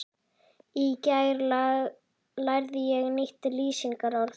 Í gær lærði ég nýtt lýsingarorð.